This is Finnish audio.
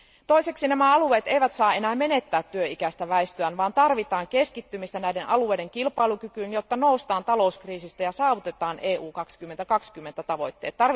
Toiseksi nämä alueet eivät saa enää menettää työikäistä väestöään vaan tarvitaan keskittymistä näiden alueiden kilpailukykyyn, jotta noustaan talouskriisistä ja saavutetaan EU 2020 tavoitteet.